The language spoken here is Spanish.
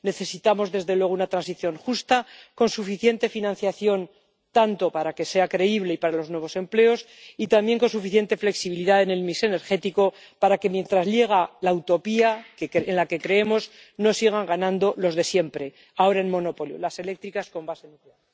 Necesitamos, desde luego, una transición justa con suficiente financiación, tanto para que sea creíble como para los nuevos empleos, y también con suficiente flexibilidad en el mix energético para que, mientras llega la utopía en la que creemos, no sigan ganando los de siempre ahora en monopolio, las eléctricas con base nuclear.